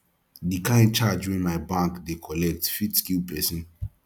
the kin charge wey my bank dey collect fit kill person